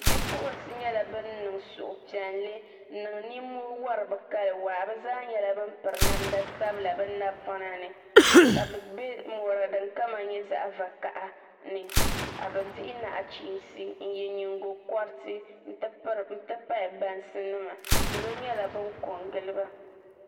Bipuɣunsi nyɛla bin niŋ suhupiɛlli n niŋ nimoo wori bi kali waa bi zaa nyɛla bin piri namda sabila bi napɔna ni ka bi bɛ mɔri din kama nyɛ zaɣ vakaɣa ni ka bi dihi nachiinsi n yɛ nyingokoriti n ti pahi bansi nima salo nyɛla bin ko n giliba